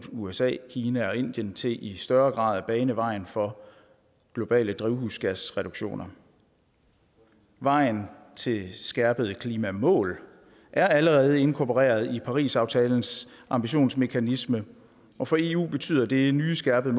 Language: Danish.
usa kina og indien til i større grad at bane vejen for globale drivhusgasreduktioner vejen til skærpede klimamål er allerede inkorporeret i parisaftalens ambitionsmekanisme og for eu betyder det nye skærpede